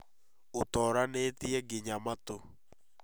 ũtooranĩtie nginya matũ